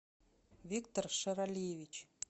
виктор шаралиевич